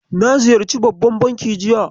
Na ziyarci babban banki jiya.